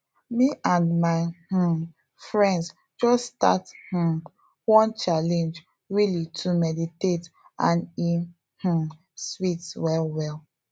me and my um friends just start um one challenge really to meditate and e um sweet well well